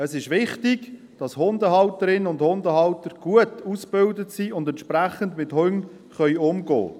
Es ist wichtig, dass Hundehalterinnen und Hundehalter gut ausgebildet sind und entsprechend mit Hunden umgehen können.